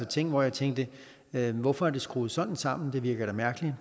ting hvor jeg tænkte hvorfor er det skruet sådan sammen det virker da mærkeligt